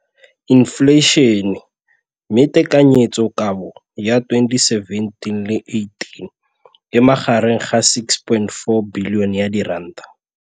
Infleišene, mme tekanyetsokabo ya 2017 le 18 e magareng ga R6.4 bilione.